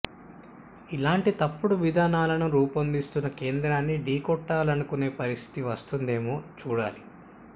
ఇలాంటి తప్పుడు విధానాలను రూపొందిస్తున్న కేంద్రాన్ని ఢీకొట్టాలనుకునే పరిస్థితి వస్తుందేమో చూడాలి